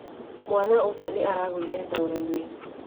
Mwana ũcio nĩ aragũire ndoro-inĩ.